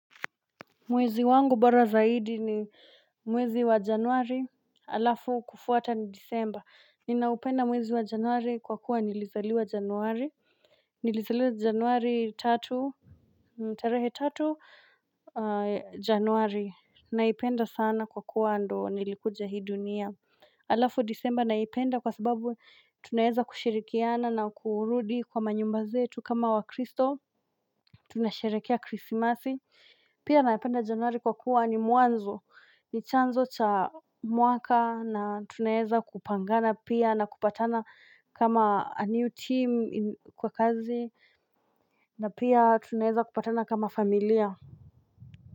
Mwezi wangu bara zaidi ni mwezi wa januari, alafu kufuata na disemba. Ninaupenda mwezi wa januari kwa kuwa nilizaliwa januari. Nilizaliwa januari tatu, tarehe tatu januari. Naipenda sana kwa kuwa ndio nilikuja hii dunia. Alafu disemba naipenda kwa sababu tunaeza kushirikiana na kuurudi kwa manyumba zetu kama wa kristo. Tunasherekea krisimasi. Pia naipenda januari kwa kuwa ni muanzo, ni chanzo cha muaka na tunaeza kupangana pia na kupatana kama a new team kwa kazi na pia tunaeza kupatana kama familia.